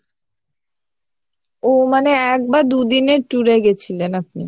ও মানে এক বা দুদিনের tour এ গেছিলেন আপনি।